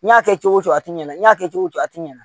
N y'a kɛ cogo o cogo a ti ɲɛna i n'a kɛ cogo o cogo a ti ɲana